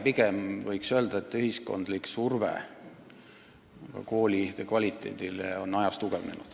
Pigem võiks öelda, et ühiskondlik surve koolide kvaliteedile on aja jooksul tugevnenud.